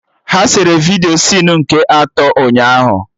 Ha sere vidiyo sinu nke atọ ụnyaahụ